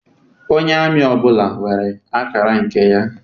Onye amị ọbụla nwere akara nke ya.